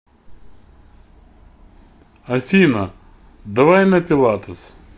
афина давай на пилатес